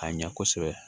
Ka ɲa kosɛbɛ